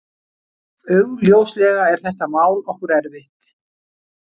Augljóslega er þetta mál okkur erfitt